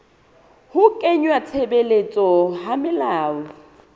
ho kenngwa tshebetsong ha melao